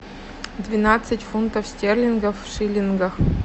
двенадцать фунтов стерлингов в шиллингах